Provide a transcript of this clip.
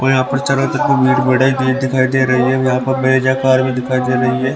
और यहाँ पे बोहत बड़ा गेट भी दिखाई दे रहा है और एक ब्रीज़ज़ा कार भी कड़ी है।